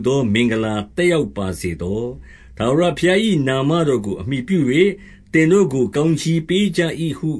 သောမင်္ဂလာ သက်ရောက်ပါစေဟုလည်းကောင်း နာမတော်ကို အမှီပြု၍ ကောင်းချီးပေးပါ၏ ဟု